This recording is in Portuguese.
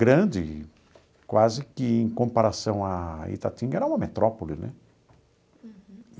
grande, quase que em comparação à Itatinga, era uma metrópole né.